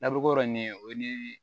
Labu ko yɔrɔ nin ye o ye